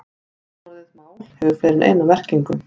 Nafnorðið mál hefur fleiri en eina merkingu.